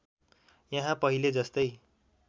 यहाँ पहिले जस्तै